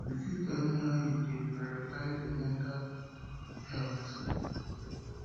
you fit tell me how you dey prioritize your mental prioritize your mental health